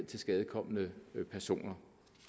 tilskadekomne personer